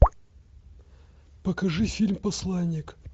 покажи фильм посланник